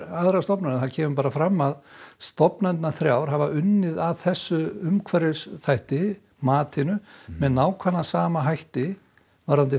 aðrar stofnanir það kemur bara fram að stofnanirnar þrjár hafa unnið að þessum umhverfisþætti matinu með nákvæmlega sama hætti varðandi